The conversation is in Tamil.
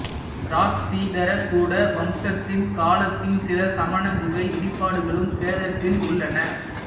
இராஷ்டிரகூட வம்சத்தின் காலத்தின் சில சமண குகை இடிபாடுகளும் சேதத்தில் உள்ளன